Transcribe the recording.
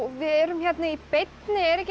við erum hérna í beinni er ekki